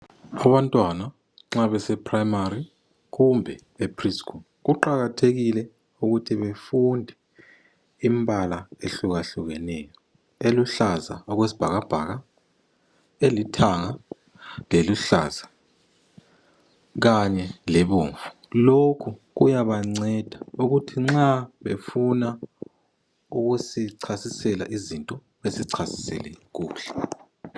Abantwana nxa bese primary kumbe e preschool kuqakathekile ukuthi befunde imbala ehlukehlukeneyo. Eluhlaza okwesibhakabhaka elithanga leluhlaza kanye lobomvu. Lokhu kuyabanceda ukuthi nxa befuna ukusichasisela izinto besichasisele kuhle.